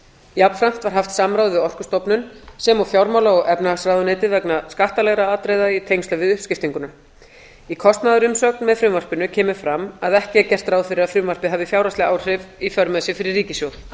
jafnframt var haft samráð við orkustofnun sem og fjármála og efnahagsráðuneytið vegna skattalegra atriða í tengslum við uppskiptinguna í kostnaðarumsögn með frumvarpinu kemur fram að ekki er gert ráð fyrir að frumvarpið hafi fjárhagsleg áhrif í för með sér fyrir ríkissjóð ég